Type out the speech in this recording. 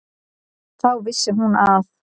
Þá vissi hún að